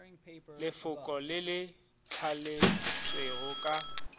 lefoko le le thaletšwego ka